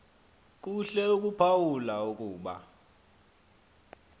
kuhle ukuphawula ukuba